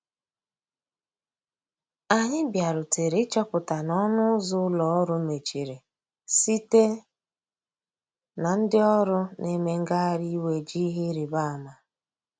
Anyi bia rutere ị chọpụta na ọnụ ụzọ ụlọ orụ mechịrị site na ndi ọrụ na eme ngahari iwè ji ihe ịrịbe ama.